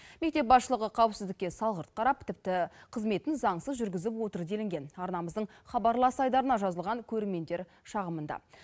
мектеп басшылығы қауіпсіздікке салғырт қарап тіпті қызметін заңсыз жүргізіп отыр делінген арнамыздың хабарлас айдарына жазылған көрермендер шағымында